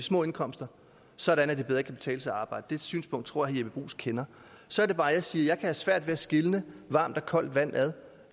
små indkomster sådan at det bedre kan betale sig at arbejde det synspunkt tror jeppe bruus kender så er det bare jeg siger at have svært ved at skille varmt og koldt vand ad